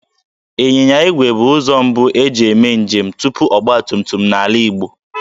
Ịnyịnya igwe bụ ụzọ mbu e ji eme njem tupu ọgbatumtum n'ala Igbo